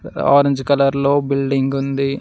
Orange colour లో building ఉంది.